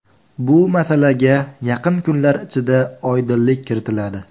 Bu masalaga yaqin kunlar ichida oydinlik kiritiladi.